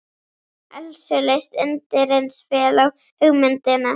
Elsu leist undireins vel á hugmyndina.